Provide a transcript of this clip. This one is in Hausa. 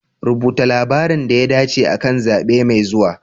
Rubuta labarin da ya dace akan zabe mai zuwa.